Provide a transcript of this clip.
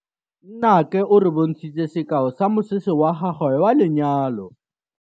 Nnake o re bontshitse sekaô sa mosese wa gagwe wa lenyalo.